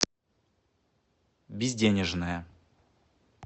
безденежная